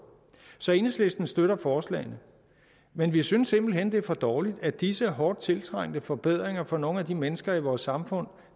så enhedslisten støtter forslagene men vi synes simpelt hen det er for dårligt at disse hårdt tiltrængte forbedringer for nogle af de mennesker i vores samfund